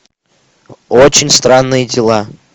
очень странные дела